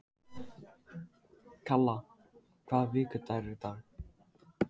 Kalla, hvaða vikudagur er í dag?